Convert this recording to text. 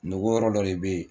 Nɔgɔ yɔrɔ dɔ de bɛ yen